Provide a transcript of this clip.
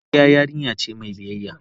Godiya yarinya ce mai biyayya.